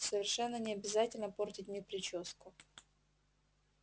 совершенно не обязательно портить мне причёску